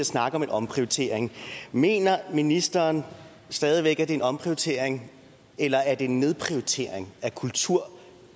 snakke om en omprioritering mener ministeren stadig væk det er en omprioritering eller er det en nedprioritering af kultur